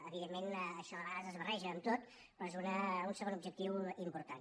evidentment això de vegades es barreja amb tot però és un segon objectiu important